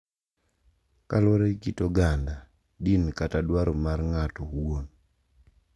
Kaluwore gi kit oganda, din kata dwaro mar ng’ato owuon